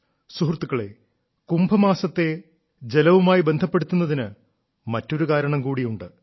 സുഹൃത്തുക്കളേ കുംഭമാസത്തെ ജലവുമായി ബന്ധപ്പെടുത്തുന്നതിന് മറ്റൊരു കാരണം കൂടിയുണ്ട്